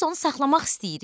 Biz onu saxlamaq istəyirik.